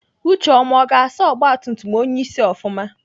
Ucheọma ọ ga-asa ọgbatumtum onyeisi ofụma?